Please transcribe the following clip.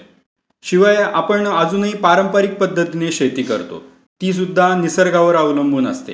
शिवाय आपण अजूनही पारंपरिक पध्दतीने शेती करतो. ती सुद्धा निसर्गावर अवलंबून असते.